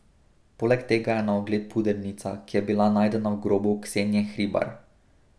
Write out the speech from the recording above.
Poleg tega je na ogled pudernica, ki je bila najdena v grobu Ksenije Hribar.